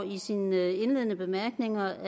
i sine indledende bemærkninger